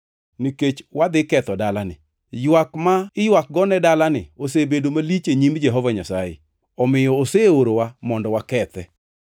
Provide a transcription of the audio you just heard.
nikech wadhi ketho dalani. Ywak ma iywak nego dalani osebedo malich e nyim Jehova Nyasaye, omiyo oseorowa mondo wakethe.”